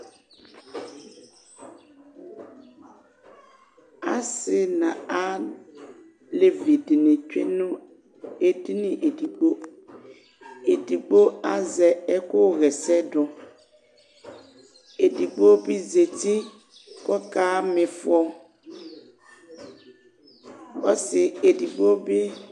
assi n'alévĩ dini tsué nũ édini édigbo édigbo azɛ ɛkũ ḥɛsɛ dũ édigbo bi zéti kɔka mifɔ ɔssi édigbo bi